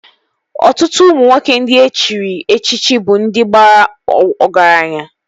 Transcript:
Ọtụtụ ụmụ nwoke ndị e chiri echichi bụ ndị bara ọgaranya